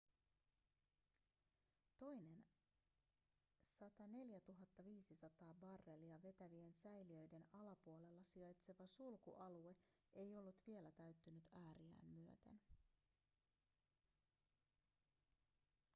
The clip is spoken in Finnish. toinen 104 500 barrelia vetävien säiliöiden alapuolella sijaitseva sulkualue ei ollut vielä täyttynyt ääriään myöten